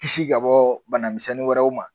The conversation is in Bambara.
Kisi ka bɔ banamisɛnnin wɛrɛw ma